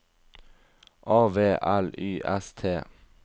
A V L Y S T